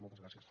moltes gràcies